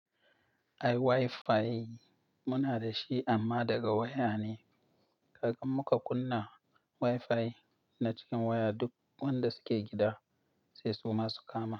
Ai WiFi muna dashi amma daga waya ne. Ka ga muka kunna WiFi na cikin waya duk wanda suke gida sai su ma su kama.